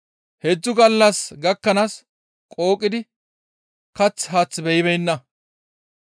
Heedzdzu gallas gakkanaas qooqidi kath haath beyibeenna.